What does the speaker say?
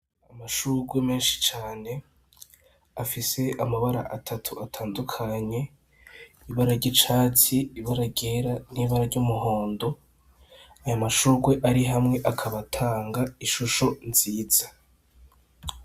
Amashurwe menshi cane, afise amabara atatu atandukanye, ibara ry’icatsi, ibara ryera, n’ibara ry’umuhondo. Ayo mashurwe ari hamwe akaba ataga ishusho nziza